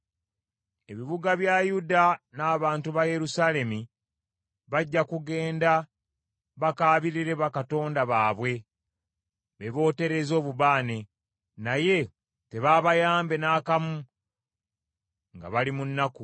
Ebibuga bya Yuda n’abantu ba Yerusaalemi bajja kugenda bakaabirire bakatonda baabwe be bootereza obubaane, naye tebaabayambe n’akamu nga bali mu nnaku.